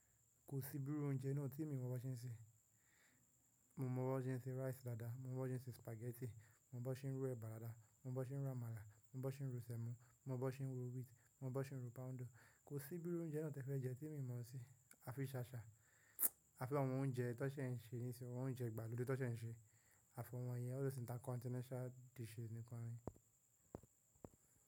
Kò sí bíru oúnjẹ náà tí èmi mọ́ bó ṣe ń ṣe. Mo mọ bó ṣe ń se rice lada, mo mọ bó ṣe ń ṣe spaghetti, mo mọ bó ṣe ń ro eba lada, mo mọ bó ṣe ń ro amala, mo mọ bó ṣe ń ro sẹ̀mọ́, mo mọ bó ṣe ń ro wheat, mo mọ bó ṣe ń ro poundo. Kò sí bíró oúnjẹ náà tí e fẹ́ jẹ́ tí èmi mo sí. A fi ṣaṣa, a fi àwọn oúnjẹ tán ṣe ń ṣe nísinsìnyí, àwọn oúnjẹ ìgbàlódé tó ṣe ń ṣe, àfi àwọn yẹn, ọ̀ lọ sí intercontinental dishes nìkan rí.